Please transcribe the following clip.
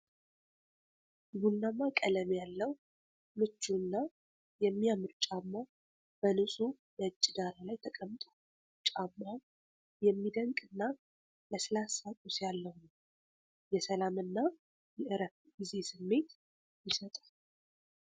ቡናማ ቀለም ያለው ምቹ እና የሚያምር ጫማ በንጹህ ነጭ ዳራ ላይ ተቀምጧል። ጫማው የሚደነቅና ለስላሳ ቁስ ያለው ነው፣ የሰላም እና የእረፍት ጊዜ ስሜት ይሰጣል።